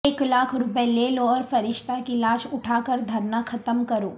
ایک لاکھ روپے لے لو اور فرشتہ کی لاش اٹھا کر دھرنا ختم کرو